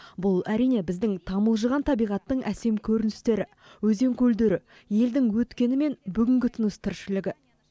бұл әрине біздің тамылжыған табиғаттың әсем көріністері өзен көлдері елдің өткені мен бүгінгі тыныс тіршілігі